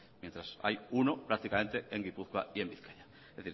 mientras hay uno prácticamente en gipuzkoa y en bizkaia es